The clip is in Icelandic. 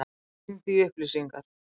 Hann hringdi í upplýsingar.